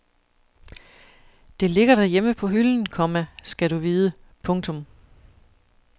Det ligger derhjemme på hylden, komma skal du vide. punktum